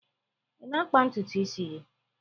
Ị na-akpa ntutu isi gị?